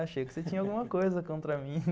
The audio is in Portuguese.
Achei que você tinha alguma coisa contra mim, né?